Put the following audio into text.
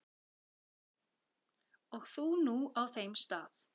Og þú nú á þeim stað.